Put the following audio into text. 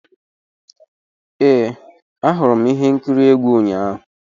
Ee, ahụrụ m ihe nkiri egwu ụnyahụ.